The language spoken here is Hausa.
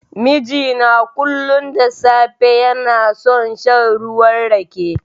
Mijina kullun da safe, yana son shan ruwan Rake.